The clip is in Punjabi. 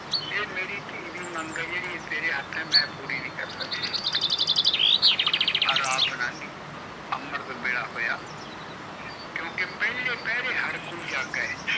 ਏ ਮੇਰੀ ਤੀ ਦੀ ਮੰਗ ਤੇਰੇ ਹੇਠ ਹੈ ਮੈ ਪੂਰੀ ਨੀ ਕਰ ਸਕਦਾ ਰਾਤ ਲੱਗ ਗਈ ਅੰਮ੍ਰਿਤ ਵੇਲਾ ਪਿਆ ਕਿਉਕਿ ਪੀਲੇ ਪੈਰੇ ਹਰ ਕੋਈ ਜਾਗੇ